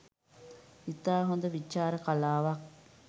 ඉතා හොඳ විචාර කලාවක්